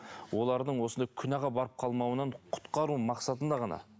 олардың осындай күнәға барып қалмауынан құтқару мақсатында ғана